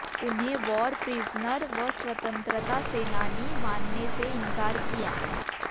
उन्हें war prisoner व स्वतंत्रता सेनानी मानने से इंकार किया